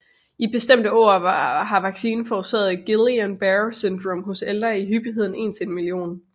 I bestemte år har vaccinen forårsaget Guillain Barre syndrom hos ældre i hyppigheden en til en million